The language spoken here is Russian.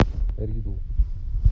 ридл